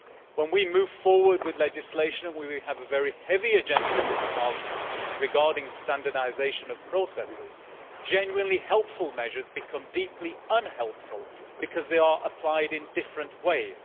When we move forward with legislation and we have a very heavy agenda in this Parliament regarding standardisation of processes genuinely helpful measures become deeply unhelpful because they are applied in different ways.